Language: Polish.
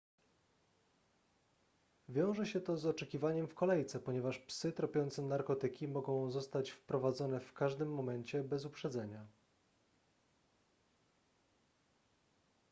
wiąże się to z oczekiwaniem w kolejce ponieważ psy tropiące narkotyki mogą zostać wprowadzone w każdym momencie bez uprzedzenia